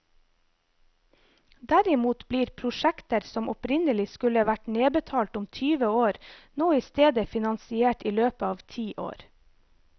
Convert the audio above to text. Derimot blir prosjekter som opprinnelig skulle vært nedbetalt om tyve år, nå i stedet finansiert i løpet av ti år.